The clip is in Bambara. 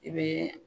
I bɛ